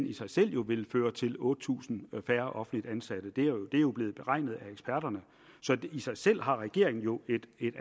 i sig selv jo vil føre til otte tusind færre offentligt ansatte det er jo blevet beregnet af eksperterne så det i sig selv har regeringen jo et